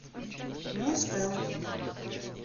мунспелл